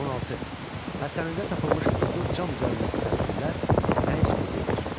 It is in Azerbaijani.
16. Həsənilidə tapılmış qızıl cam üzərindəki təsvirlər nəyi sübut eləyir?